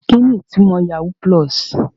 Kini itumo yahoo pulosi?